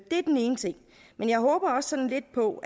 det er den ene ting men jeg håber også sådan lidt på